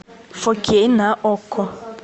фо кей на окко